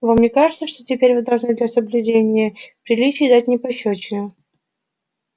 вам не кажется что теперь вы должны для соблюдения приличий дать мне пощёчину